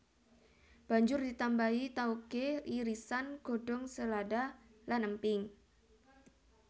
Banjur ditambahi taoge irisan godhong selada lan emping